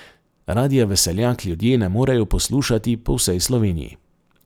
Radia Veseljak ljudje ne morejo poslušati po vsej Sloveniji.